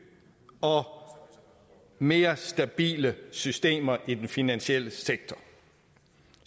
og mere stabile systemer i den finansielle sektor